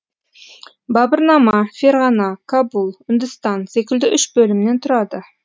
бабырнама ферғана кабул үндістан секілді үш бөлімнен тұрады